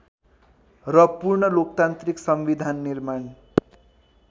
र पूर्णलोकतान्त्रिक संविधान निर्माण